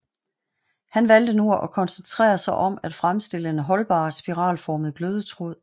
Han valgte nu at koncentrere sig om at fremstille en holdbar spiralformet glødetråd